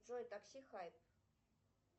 джой такси хайп